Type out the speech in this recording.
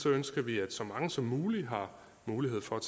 ønsker vi at så mange som muligt har mulighed for at